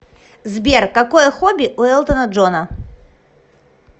сбер какое хобби у элтона джона